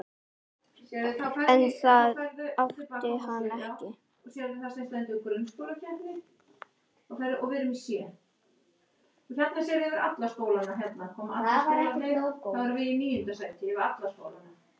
En það átti hann ekki.